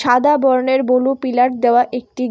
সাদা বর্ণের blue pillar দাওয়া একটি গে--